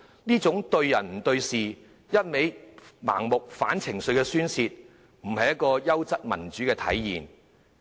這種對人不對事、盲目反對的情緒宣泄，並非優質民主的體現。